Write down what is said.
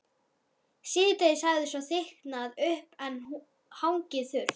Síðdegis hafði svo þykknað upp en hangið þurrt.